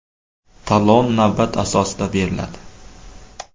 Talon navbat asosida beriladi.